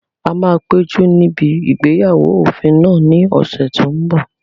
A máa péjú níbi ìgbéyàwó òfin náà ní ọ̀sẹ̀ tó n bọ̀